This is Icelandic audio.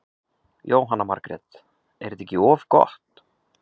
Jóhanna Margrét: Er þetta ekki of gott?